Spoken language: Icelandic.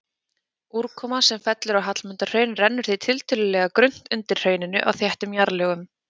Úrkoma sem fellur á Hallmundarhraun rennur því tiltölulega grunnt undir hrauninu á þéttum jarðlögum.